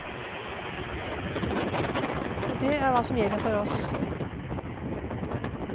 Og det er hva som gjelder for oss.